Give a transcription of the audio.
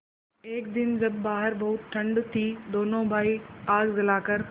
एक दिन जब बाहर बहुत ठंड थी दोनों भाई आग जलाकर